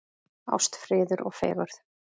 Ást, friður og fegurð.